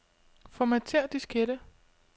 Formatér diskette.